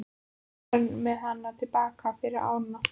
Svo var farið með hana til baka yfir ána.